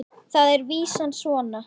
Þar er vísan svona